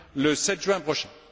le 7 juin prochain.